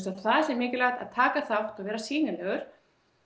það sé mikilvægt að taka þátt og vera sýnilegur